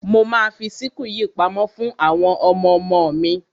Mo ma fi síkù yìí pamọ́ fún àwọn ọmọmo mi.